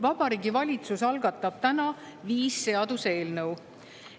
Vabariigi Valitsus algatab täna viis seaduseelnõu.